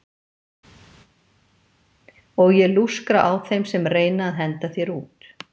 Og ég lúskra á þeim sem reyna að henda þér út.